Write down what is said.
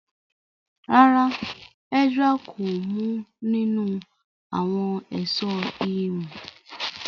ràrá Ezra kò mu ninu awọn Èṣó imú.